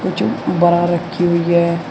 जो ब्रा रखी हुई है।